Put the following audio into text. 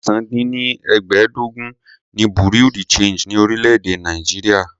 ẹ̀sán -dín- ní- ẹgbẹ́ẹ́ẹdógún ni bureau de change ni orílè-èdè Nàìjíríà.